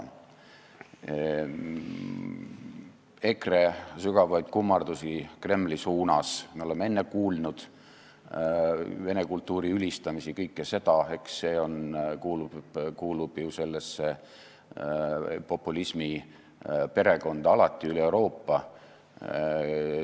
Me oleme ka enne kuulnud EKRE sügavaid kummardusi Kremli suunas ja vene kultuuri ülistamist, kõike seda, see kuulub ju sellesse populismiperekonda alati, üle Euroopa.